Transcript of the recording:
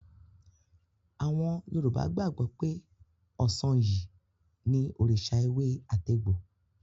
Àwọn Yorùbá gbàgbọ́ pé Ọ̀sanyì ni òrìṣà ewé-àtegbò.